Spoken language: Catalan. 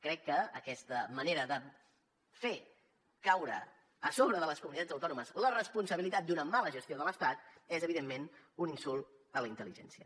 crec que aquesta manera de fer caure a sobre de les comunitats autònomes la responsabilitat d’una mala gestió de l’estat és evidentment un insult a la intel·ligència